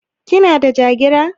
Kina da Jagira?